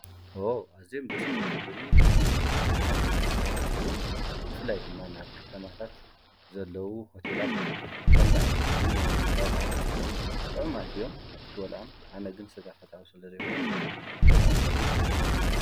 ዎው ኣዝዮም ደስ ካብ ዝብሉኒ ምግብታት ሓደ እንትትከውን ብፍላይ ድማ ናብ ከተማታት ዘለዉ ሆቴላት ከምዚ ዓይነት ምግቢ ናይ ምድላው ባህሊ ኣለዎም፡፡ ጥዑማት እዮም ክትበልዖም፡፡ ኣነ ግን ስጋ ፈታዊ ስለዘይኮንኩ ተጠቒመሉ ኣይፈልጥን፡፡